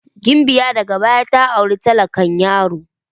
Gimbiya daga baya ta auri talakan yaron.